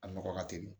A nɔgɔ ka teli